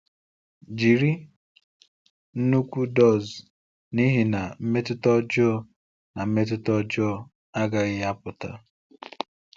Jiri nnukwu dose n’ihi na mmetụta ọjọọ na mmetụta ọjọọ agaghị apụta.